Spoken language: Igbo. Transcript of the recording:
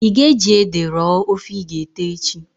I ga eji ede rọọ ofe i g'ete echi?